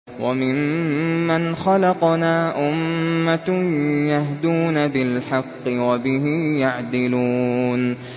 وَمِمَّنْ خَلَقْنَا أُمَّةٌ يَهْدُونَ بِالْحَقِّ وَبِهِ يَعْدِلُونَ